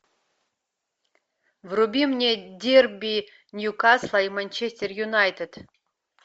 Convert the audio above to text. вруби мне дерби ньюкасла и манчестер юнайтед